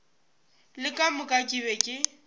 le ka moka ke be